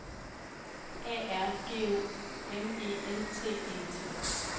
A R G U M E N T E T